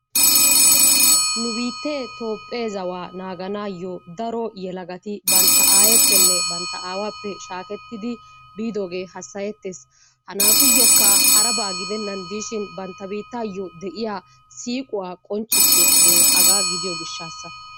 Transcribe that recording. Nu biittee tophphee zawaa naagayoo daro yelagati bantta ayyeepenne bantta awaappe shaakkettidi biidogee hasayettees. Ha naatuyyokka harabaa gidennan diishin bantta biitawu de'iyaa siiquwaa qonccisiyoo ogee hagaa gidiyoo giishshasa.